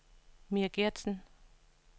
Mia Geertsen